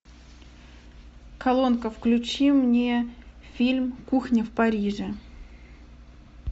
колонка включи мне фильм кухня в париже